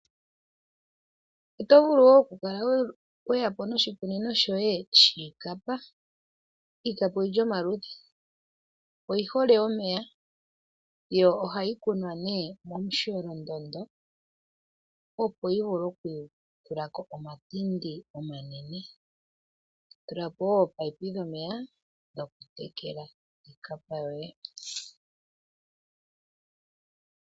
Oto vulu wo okukala we ya po noshikunino shoye shiikapa. Iikapa oyi li pamaludhi. Oyi hole omeya yo ohayi kunwa momusholondondo, opo yi vule okutula ko omatindi omanene. To tula po wo ominino dhomeya dhokutekela iikapa yoye.